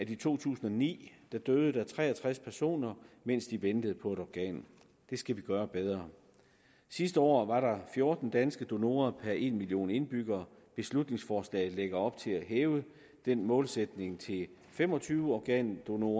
i to tusind og ni døde tre og tres personer mens de ventede på et organ det skal vi gøre bedre sidste år var der fjorten danske donorer per en million indbyggere beslutningsforslaget lægger op til at hæve den målsætning til fem og tyve organdonorer